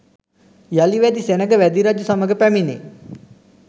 යළි වැදි සෙනඟ වැදි රජු සමග පැමිණේ.